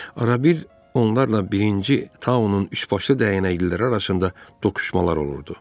Arabir onlarla birinci Taunun üçbaşlı dəyənəkliləri arasında toqquşmalar olurdu.